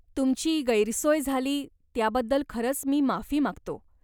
तुमची गैरसोय झाली त्याबद्दल खरंच मी माफी मागतो.